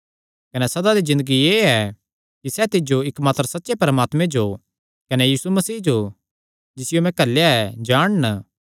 कने सदा दी ज़िन्दगी एह़ ऐ कि सैह़ तिज्जो इकमात्र सच्चे परमात्मे जो कने यीशु मसीह जो जिसियो तैं घल्लेया ऐ जाणन